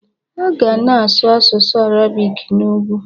A ka ga-na asụ asụsụ Arabik n'ugwu.